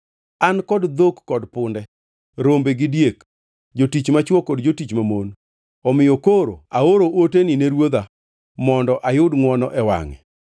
An kod dhok kod punde, rombe gi diek, jotich machwo kod jotich mamon. Omiyo koro aoro oteni ne ruodha, mondo ayud ngʼwono e wangʼe.’ ”